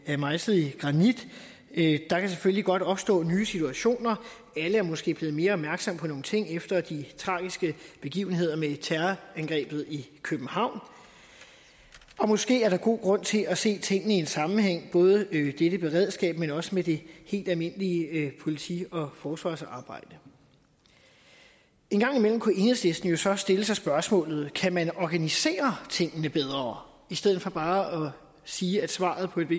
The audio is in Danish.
er mejslet i granit der kan selvfølgelig godt opstå nye situationer alle er måske blevet mere opmærksomme på nogle ting efter de tragiske begivenheder med terrorangrebet i københavn og måske er der god grund til at se tingene i en sammenhæng både dette beredskab men også det helt almindelige politi og forsvarsarbejde en gang imellem kunne enhedslisten jo så stille sig selv spørgsmålet kan man organisere tingene bedre i stedet for bare at sige at svaret på et